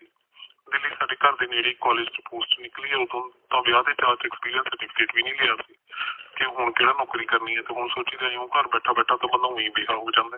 ਦਿੱਲੀ ਸਾਡੇ ਘਰ ਦੇ ਨੇੜੇ ਏ ਇਕ ਕਾਲਜ ਚ ਪੋਸਟ ਨਿਕਲੀ ਆ ਓਦੋ ਤੇ ਵਿਆਹ ਦੇ ਚਾਅ ਚ ਅਕਸਪੀਰੀਅਸ ਸਰਟੀਫਿਕੇਟ ਵੀ ਨੀ ਲਿਆ ਕਿ ਹੁਣ ਕਿਹੜਾ ਨੋਕਰੀ ਕਰਨੀ ਏ ਤੇ ਹੁਣ ਸੋਚੀਦਾ ਘਰ ਬੈਠਾ ਬੈਠਾ ਤਾ ਬੰਦਾ ਉਹੀ ਬੇਹਾ ਹੋ ਜਾਂਦੇ